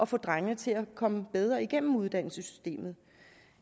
få drengene til at komme bedre igennem uddannelsessystemet